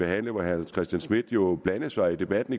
herre hans christian schmidt jo blandede sig i debatten